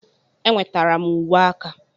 Enwetara m uwe aka.